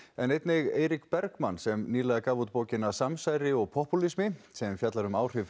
en einnig Eirík Bergmann sem nýlega gaf út bókina samsæri og popúlismi sem fjallar um áhrif